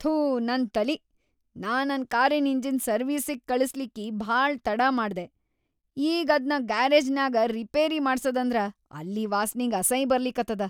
ಥೂ ನನ್‌ ತಲಿ, ನಾ ನನ್‌ ಕಾರಿನ್‌ ಇಂಜಿನ್ ಸರ್ವೀಸಿಗ್‌ ಕಳಸ್ಲಿಕ್ಕಿ ಭಾಳ ತಡಾ ಮಾಡ್ದೆ, ಈಗ್ ಅದ್ನ ಗ್ಯಾರೇಜ್ನ್ಯಾಗ್ ರಿಪೇರಿ ಮಾಡ್ಸದಂದ್ರ‌ ಅಲ್ಲಿ ವಾಸ್ನಿಗ್ ಅಸೈ ಬರ್ಲಿಕತ್ತದ.